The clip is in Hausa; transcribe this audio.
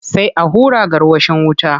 Sai a hura gwarwashin wuta.